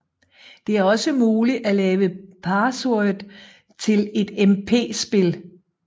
Det er også muligt at lave password til et MP spil